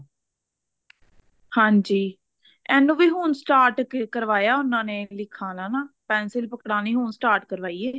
ਹਾਂਜੀ ਇਹਨੂੰ ਵੀ ਹੁਣ start ਕਰਵਾਇਆ ਉਹਨਾਂ ਨੇ ਲਿਖਾਨਾ ਨਾ pencil ਪਕੜਾਨੀ ਹੁਣ start ਕਰਵਾਈ ਐ